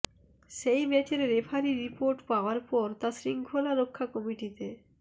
সেই ম্যাচের referee report পাওয়ার পর তা শৃঙ্খলারক্ষা কমিটিতে